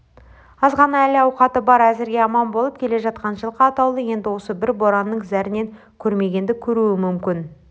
азғана әл-ауқаты бар әзірге аман болып келе жатқан жылқы атаулы енді осы бір боранның зәрінен көрмегенді көруі мүмкін